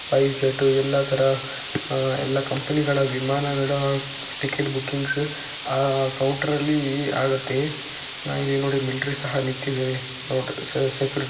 ಎಲ್ಲಾ ತರ ಆಹ್ಹ್ ಎಲ್ಲ ಕಂಪನಿಗಳ ವಿಮಾನಗಳ ಟಿಕೆಟ್ ಬುಕ್ಕಿಂಗ್ಸ್ ಆ ಕೌಂಟರ್ಲಿ ಆಗುತ್ತೆ ಇಲ್ಲಿ ನೋಡಿ ಮಿಲಿಟರಿ ಸಹ ನಿಂತಿದ್ದಾವೆ--